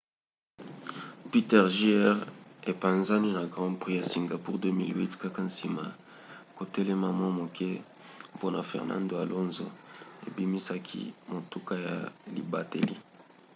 piquet jr. epanzani na grand prix ya singapour 2008 kaka nsima ya kotelema mwa moke mpona fernando alonso ebimisaki motuka ya libateli